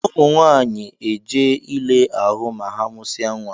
Ụmụ nwanyị na eje ile ahụ ma ha musia nwa.